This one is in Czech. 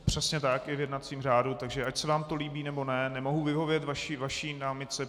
Přesně tak, je v jednacím řádu, takže ať se vám to líbí, nebo ne, nemohu vyhovět vaší námitce.